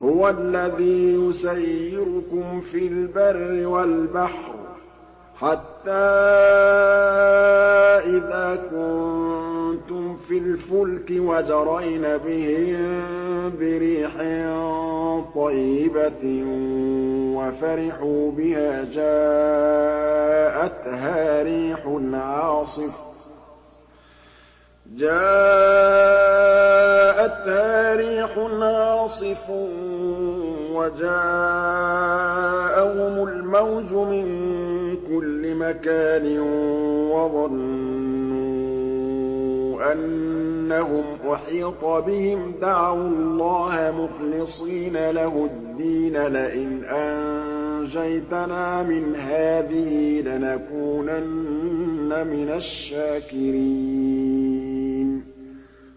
هُوَ الَّذِي يُسَيِّرُكُمْ فِي الْبَرِّ وَالْبَحْرِ ۖ حَتَّىٰ إِذَا كُنتُمْ فِي الْفُلْكِ وَجَرَيْنَ بِهِم بِرِيحٍ طَيِّبَةٍ وَفَرِحُوا بِهَا جَاءَتْهَا رِيحٌ عَاصِفٌ وَجَاءَهُمُ الْمَوْجُ مِن كُلِّ مَكَانٍ وَظَنُّوا أَنَّهُمْ أُحِيطَ بِهِمْ ۙ دَعَوُا اللَّهَ مُخْلِصِينَ لَهُ الدِّينَ لَئِنْ أَنجَيْتَنَا مِنْ هَٰذِهِ لَنَكُونَنَّ مِنَ الشَّاكِرِينَ